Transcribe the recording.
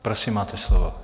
Prosím, máte slovo.